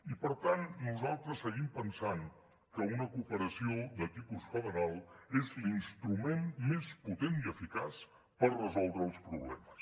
i per tant nosaltres seguim pensant que una cooperació de tipus federal és l’instrument més potent i eficaç per resoldre els problemes